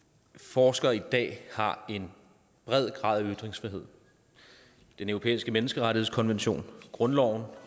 forskere i dag har en bred grad af ytringsfrihed den europæiske menneskerettighedskonvention grundloven